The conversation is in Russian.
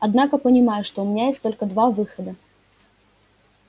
однако понимаю что у меня есть только два выхода